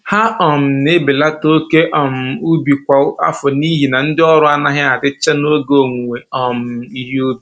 Ha um na-ebelata oke um ubi kwa afọ n'ihi na ndị ọrụ anaghị adịcha n'oge owuwe um ihe ubi